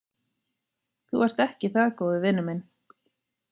Þú ert ekki það góður vinur minn.